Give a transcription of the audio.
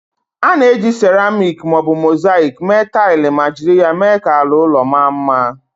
A na-eji ceramik ma ọ bụ mosaịk mee taịlị ma jiri ya mee ka ala ụlọ maa mma.